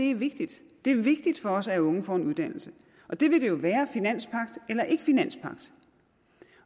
er vigtigt det er vigtigt for os at unge får en uddannelse og det vil det jo være finanspagt eller ikke finanspagt